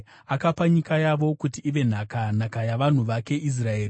akapa nyika yavo kuti ive nhaka, nhaka yavanhu vake Israeri.